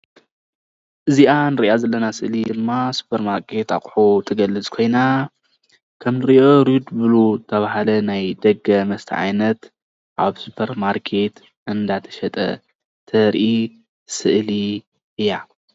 እዝይኣ እንርእያ ዘለና ስእሊ ድማ ስፖርማርኬት ኣቑሑት ትገልፅ ኮይና ከምእንሪእዮ ሬድቡሉ ዝትባህለ ናይ ደገ መስተ ዓይነት ኣብ ስፖርማርኬት እናተሸጠ ተሪኢ ስእሊ እያ።